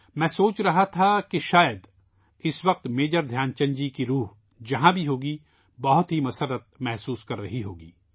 میں سوچ رہا تھا کہ شاید اس وقت ، میجر دھیان چند جی کی آتما ، جہاں بھی ہو گی ، بہت خوشی محسوس کرتی ہو گی